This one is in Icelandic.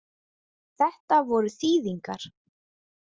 Þetta voru þýðingar.